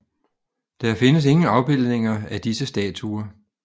Der findes ingen afbildninger af disse statuer